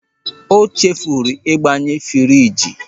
O chefuru ịgbanye friji.